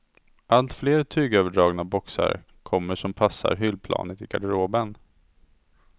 Allt fler tygöverdragna boxar kommer som passar hyllplanet i garderoben.